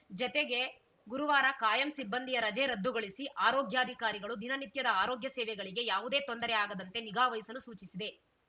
ಜತಗೆ ಗುರುವಾರ ಕಾಯಂ ಸಿಬ್ಬಂದಿಯ ರಜೆ ರದ್ದುಗೊಳಿಸಿ ಆರೋಗ್ಯಾಧಿಕಾರಿಗಳು ದಿನನಿತ್ಯದ ಆರೋಗ್ಯ ಸೇವೆಗಳಿಗೆ ಯಾವುದೇ ತೊಂದರೆ ಆಗದಂತೆ ನಿಗಾವಹಿಸಲು ಸೂಚಿಸಿದೆ